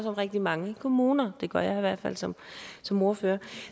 om rigtig mange kommuner det gør jeg i hvert fald som som ordfører